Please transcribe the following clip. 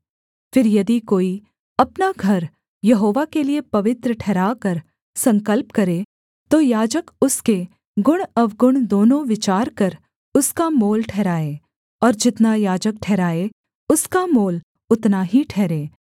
फिर यदि कोई अपना घर यहोवा के लिये पवित्र ठहराकर संकल्प करे तो याजक उसके गुणअवगुण दोनों विचार कर उसका मोल ठहराए और जितना याजक ठहराए उसका मोल उतना ही ठहरे